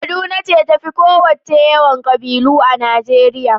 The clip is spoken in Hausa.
Kaduna ce ta fi ƙowacce yawan ƙabilu a Najeriya.